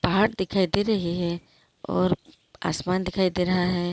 पहाड़ दिखाई दे रहै हैं और आसमान दिखाई दे रहा हैं।